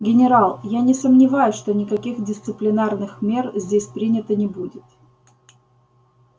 генерал я не сомневаюсь что никаких дисциплинарных мер здесь принято не будет